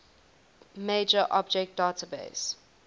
major object database